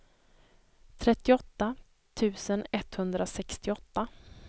trettioåtta tusen etthundrasextioåtta